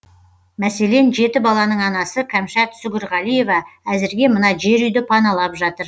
мәселен жеті баланың анасы кәмшат сүгірғалиева әзірге мына жер үйді паналап жатыр